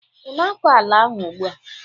ị na-akọ ala ahụ ugbu a?